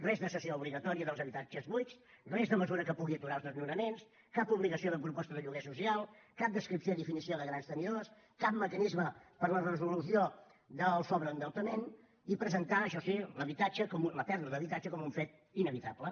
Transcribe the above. res de cessió obligatòria dels habitatges buits res de mesura que pugui aturar els desnonaments cap obligació de proposta de lloguer social cap descripció i definició de grans tenidors cap mecanisme per a la resolució del sobreendeutament i presentar això sí la pèrdua d’habitatge com un fet inevitable